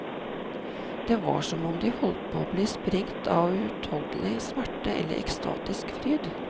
Det var som om de holdt på å bli sprengt av uutholdelig smerte eller ekstatisk fryd.